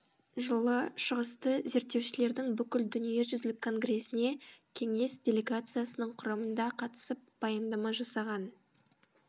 жылы шығысты зерттеушілердің бүкіл дүниежүзілік конгресіне кеңес делегациясының құрамында қатысып баяндама жасаған